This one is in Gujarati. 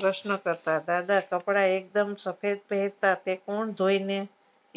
પ્રશ્નો કરતા દાદા કપડા એકદમ સફેદ પહેરતા કે કુણ ધોઈને